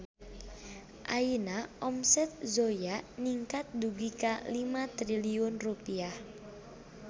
Ayeuna omset Zoya ningkat dugi ka 5 triliun rupiah